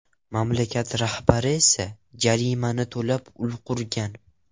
Mamlakat rahbari esa jarimani to‘lab ulgurgan.